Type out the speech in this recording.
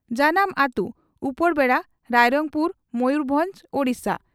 ᱡᱟᱱᱟᱢ ᱟᱛᱩ ᱺ ᱩᱯᱚᱨᱵᱮᱰᱟ, ᱨᱟᱭᱨᱚᱝᱯᱩᱨ, ᱢᱚᱭᱩᱨᱵᱷᱚᱸᱡᱽ, ᱳᱰᱤᱥᱟ ᱾